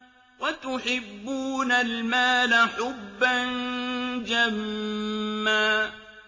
وَتُحِبُّونَ الْمَالَ حُبًّا جَمًّا